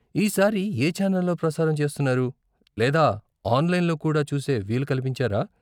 ఈ సారి ఏ ఛానెల్లో ప్రసారం చేస్తున్నారు, లేదా ఆనలైన్లో కూడా చూసే వీలు కల్పించారా?